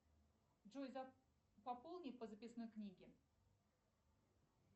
джой пополни по записной книги